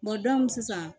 sisan